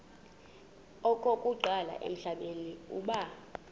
okokuqala emhlabeni uba